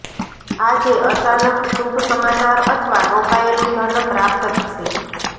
આજે અચાનક શુભ સમાચાર અથવા રોકાયેલું ધન પ્રાપ્ત થશે